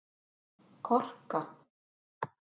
Korka